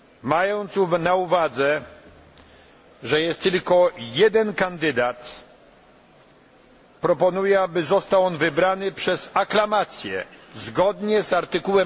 Mając na uwadze, że jest tylko jeden kandydat, proponuję, aby został on wybrany przez aklamację zgodnie z art.